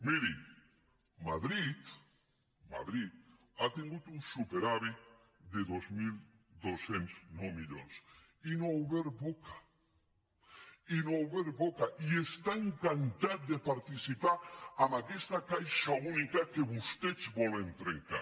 miri madrid madrid ha tingut un superàvit de dos mil dos cents i nou milions i no ha obert boca i no ha obert boca i està encantada de participar en aquesta caixa única que vostès volen trencar